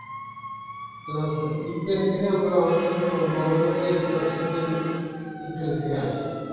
Ukraine থেকে আমাদের government এর eighty percent ই ইউক্রেইন্ থেকে আসে